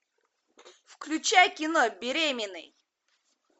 включай кино беременный